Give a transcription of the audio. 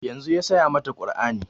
Yanzun ya saya mata kur'ani